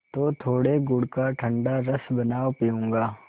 तो थोड़े गुड़ का ठंडा रस बनाओ पीऊँगा